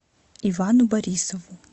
ивану борисову